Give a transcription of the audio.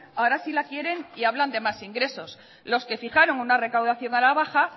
ahora sí la quieren y hablan de más ingresos los que fijaron una recaudación a la baja